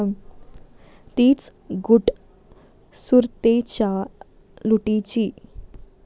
तीच गुट सुरतेच्या लुटीची.